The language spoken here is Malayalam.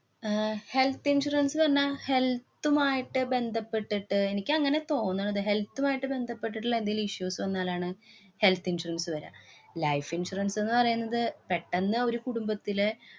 ആഹ് health insurance എന്നാ health ഉമായിട്ട് ബന്ധപ്പെട്ടിട്ട് എനിക്ക് അങ്ങനെയാ തോന്നണത്. health ഉമായി ബന്ധപ്പെട്ടിട്ടുള്ള എന്തേലും issues വന്നാലാണ് health insurance വര്യ. life insurance ന്ന് പറേണത് പെട്ടന്ന് ഒരു കുടുംബത്തിലെ